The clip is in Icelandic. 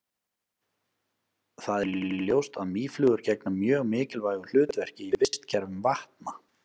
það er því ljóst að mýflugur gegna mjög mikilvægu hlutverki í vistkerfum vatna